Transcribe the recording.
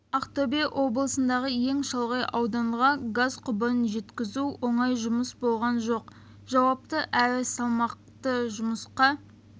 ақтөбе облысындағы ең шалғай ауданға газ құбырын жеткізу оңай жұмыс болған жоқ жауапты әрі салмақты жұмысқа